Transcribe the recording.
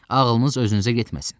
Ağlınız özünüzə getməsin.